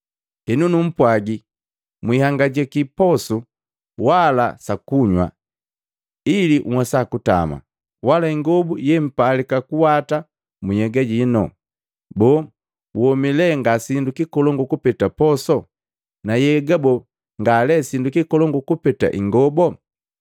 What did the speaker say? “Henu numpwagi, mwihangajaki posu wala sa kunywa ili nhwesa kutama, wala ingobu yempalika kuwata mu nhyega inu. Boo, womi lee ngasindu kikolongu kupeta poso? Na nhyega boo, nga lee sindu kikolongu kupeta ingobo?